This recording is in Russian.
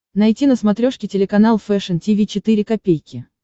найти на смотрешке телеканал фэшн ти ви четыре ка